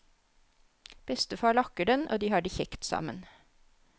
Bestefar lakker den og de har det kjekt sammen.